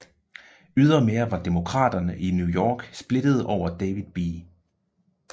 Ydermere var Demokraterne i New York splittede over David B